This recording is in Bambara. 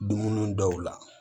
Dumuni dɔw la